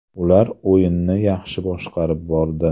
Ular o‘yinni yaxshi boshqarib bordi.